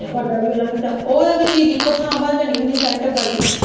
ਟੱਬਰ ਦਾ ਵੀ ਓਨਾ ਖਰਚਾ, ਉਹ ਆ ਬੀ ਚੀਜ਼ ਇੱਕੋ ਥਾਂ ਬਣ ਜਾਣੀ ਹੁੰਦੀ ਆ ਸਾਰੇ ਟੱਬਰ ਦੀ।